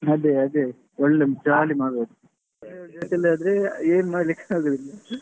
ಅದೆ ಅದೆ ಒಳ್ಳೆ jolly ಮಾಡ್ಬಹುದು. family ಜೊತೆ ಆದ್ರೆ ಏನು ಮಾಡ್ಲಿಕ್ಕೆ ಆಗುದಿಲ್ಲ.